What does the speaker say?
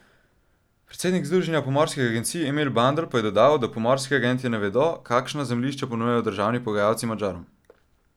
Predsednik združenja pomorskih agencij Emil Bandelj pa je dodal, da pomorski agentje ne vedo, kakšna zemljišča ponujajo državni pogajalci Madžarom.